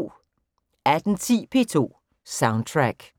18:10: P2 Soundtrack